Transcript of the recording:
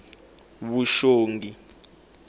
vuxongi